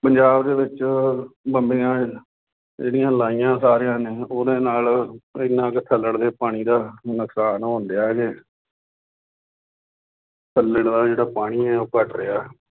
ਪੰਜਾਬ ਦੇ ਵਿੱਚ ਬੰਬੀਆਂ ਜਿਹੜੀਆ ਲਾਈਆ ਸਾਰੀਆਂ ਨੇ ਉਹਦੇ ਨਾਲ ਐਨਾ ਕੁ ਥੱਲੜੇ ਪਾਣੀ ਦਾ ਨੁਕਸਾਨ ਹੋ ਡਿਆ ਜੇ ਥੱਲੇ ਦਾ ਜਿਹੜਾ ਪਾਣੀ ਆ ਉਹ ਘੱਟ ਰਿਹਾ।